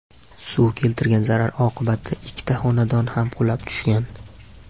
Suv keltirgan zarar oqibatida ikkita xonadon ham qulab tushgan.